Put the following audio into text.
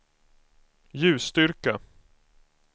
ljusstyrka